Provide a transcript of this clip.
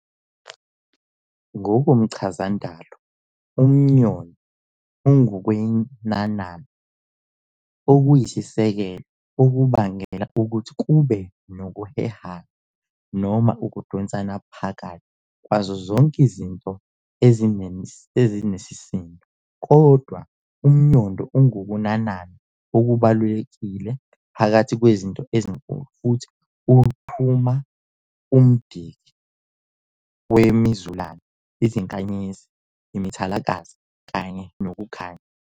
NgokomChazandalo, umNyondo ungukwenanana okuyisisekelo okubangela ukuthi kube nokuhehana noma ukudonsana phakathi kwazo zonke izinto ezinisisindo. Kodwa, umNyondo ungukunanana okubalulekile phakathi kwezinto ezinkulu, futhi unquma umDiki wemiZulane, iziNkanyezi, imithalakazi kanye nokukhanya.